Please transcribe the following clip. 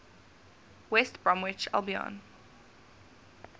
west bromwich albion